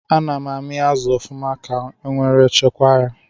Ana amị azụ ọfụma ka nwere chekwa ya